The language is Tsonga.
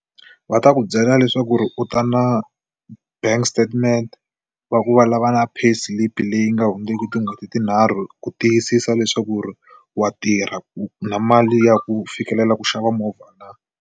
Va ta ku byela leswaku ri u ta na bank statement va ku va lava na pay slip leyi nga hundzeki tin'hweti tinharhu ku tiyisisa leswaku ri wa tirha ku na mali ya ku fikelela ku xava movha na.